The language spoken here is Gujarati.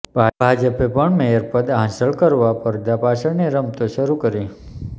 ભાજપે પણ મેયરપદ હાંસલ કરવા પરદા પાછળની રમતો શરૂ કરી